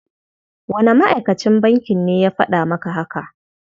Wane ma'akacin bankin ne ya faɗa maka haka?